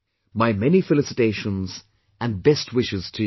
My many felicitations and best wishes to you